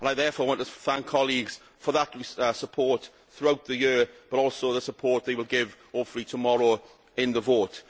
I therefore want to thank colleagues for that support throughout the year, but also the support that they will, hopefully, give tomorrow in the vote.